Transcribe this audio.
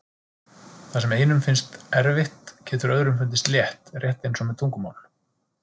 Það sem einum finnst erfitt getur öðrum fundist létt, rétt eins og með tungumál.